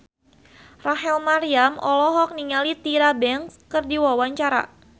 Rachel Maryam olohok ningali Tyra Banks keur diwawancara